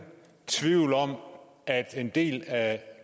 tvivl om at en del af